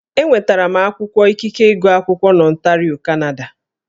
Enwetara m akwụkwọ ikike ịgụ akwụkwọ n'Ọntario, Kanada